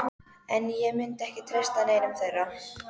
En ég myndi ekki treysta neinum þeirra.